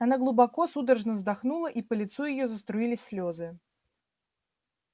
она глубоко судорожно вздохнула и по лицу её заструились слезы